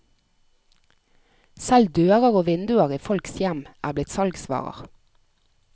Selv dører og vinduer i folks hjem er blitt salgsvarer.